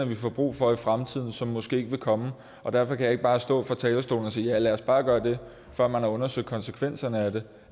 vi får brug for i fremtiden som måske ikke vil komme derfor kan jeg ikke bare stå og sige fra talerstolen ja lad os bare gøre det før man har undersøgt konsekvenserne af det